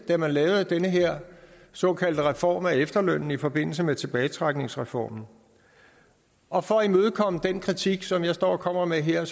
da man lavede den her såkaldte reform af efterlønnen i forbindelse med tilbagetrækningsreformen og for at imødekomme den kritik som jeg står og kommer med her